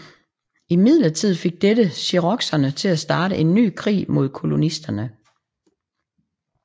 Imidlertid fik dette cherokeserne til at starte en ny krig mod kolonisterne